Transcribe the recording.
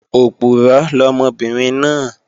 Òpùrọ́ lọmọbìnrin náà